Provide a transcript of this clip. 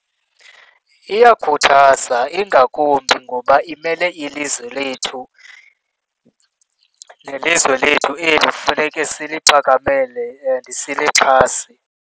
Iyakhuthaza ingakumbi ngoba imele ilizwe lethu. Nelizwe lethu eli funeke siligcakamele and silixhase.